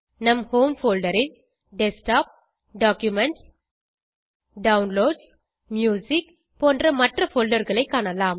நம் home folder ல் desktop documents downloads music போன்ற மற்ற போல்டர் களை காணலாம்